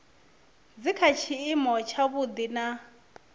dzi kha tshiimo tshavhuḓi na